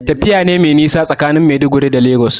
Tafiya ce mai nisa tsakanin Maiduguri da Lagos.